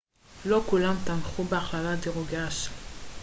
לא כולם תמכו בהכללת דירוגי הנשים